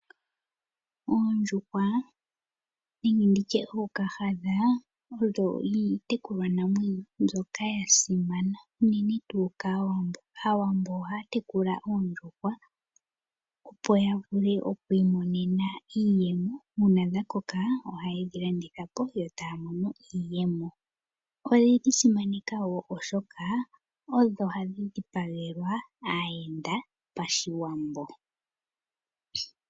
Oondjuhwa nenge nditi tye ookahadha, odho iitekulwanamwenyo mbyoka ya simana, unene tuu kaawambo. Aawambo ohaya tekula oondjuhwa opo ya vule oku imonena iiyemo. Uuna dha koka ohaye dhi landitha po yo taya mono mo iiyemo. Oye dhi simaneka wo oshoka odho hadhi dhipagelwa aayenda pashiwambo.